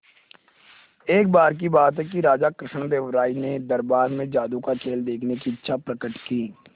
एक बार की बात है कि राजा कृष्णदेव राय ने दरबार में जादू का खेल देखने की इच्छा प्रकट की